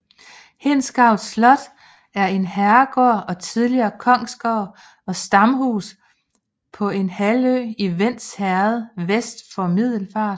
Hindsgavl Slot er en herregård og tidligere kongsgård og stamhus på en halvø i Vends Herred vest for Middelfart